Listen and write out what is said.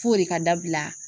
F'o de ka dabila